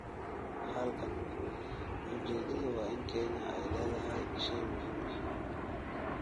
Halkan, ujeedadu waa in Kenya ay lahayd shay muhiim ah.